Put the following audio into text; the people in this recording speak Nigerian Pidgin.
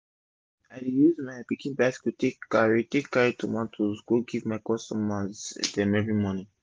i dey use my pikin bicycle take carry take carry tomato go give my customer dem everi morning